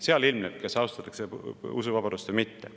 Seal ilmneb, kas austatakse usuvabadust või mitte.